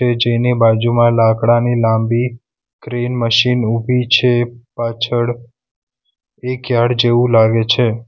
જેની બાજુમાં લાકડાની લાંબી ક્રેન મશીન ઊભી છે પાછળ એક યાર્ડ જેવું લાગે છે.